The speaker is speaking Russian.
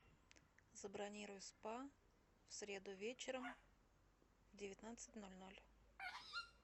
забронируй спа в среду вечером в девятнадцать ноль ноль